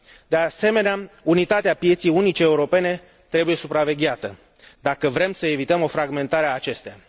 De asemenea, unitatea pieței unice europene trebuie supravegheată, dacă vrem să evităm o fragmentare a acesteia.